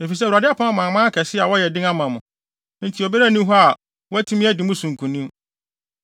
“Efisɛ Awurade apam amanaman akɛse a wɔyɛ den ama mo, enti obiara nni hɔ a watumi adi mo so nkonim.